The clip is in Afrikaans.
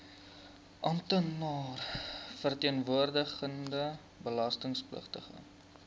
amptenaar verteenwoordigende belastingpligtige